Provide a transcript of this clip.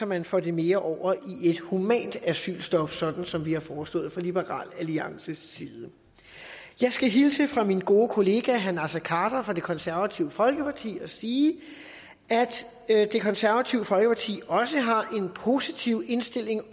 man får det mere over i et humant asylstop sådan som vi har foreslået fra liberal alliances side jeg skal hilse fra min gode kollega herre naser khader fra det konservative folkeparti og sige at det konservative folkeparti også har en positiv indstilling